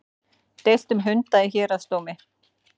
Deilt um hunda í héraðsdómi